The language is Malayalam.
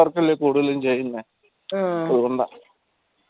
work അല്ലേ കൂടുതലും ചെയ്യുന്ന അതുകൊണ്ട